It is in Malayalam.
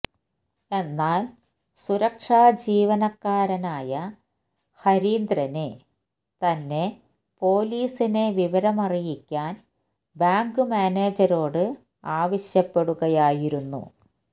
എന്നാല് സുരക്ഷാജീവനക്കാരനായ ഹരീന്ദ്രന് തന്നെ പൊലിസിനെ വിവരമറിയിക്കാന് ബാങ്ക് മാനേജരോട് ആവശ്യപ്പെടുകയായിരുന്നു